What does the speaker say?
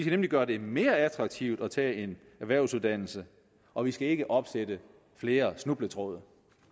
nemlig gøre det mere attraktivt at tage en erhvervsuddannelse og vi skal ikke opsætte flere snubletråde